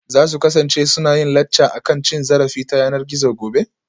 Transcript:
Za su kasance suna yin lacca akan cin zarafi ta yanar gizo gobe?